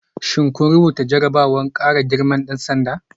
Shin kun rubuta jarrabawar kara girman dan sanda?